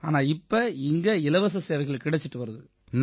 ஆனா இப்ப இங்க இலவச சேவைகள் கிடைச்சு வருது